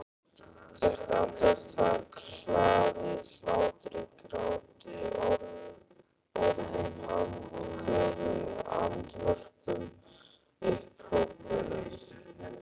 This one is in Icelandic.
Hvert andartak hlaðið hlátri gráti orðum andköfum andvörpum upphrópunum.